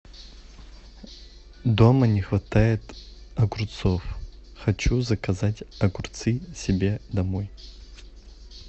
дома не хватает огурцов хочу заказать огурцы себе домой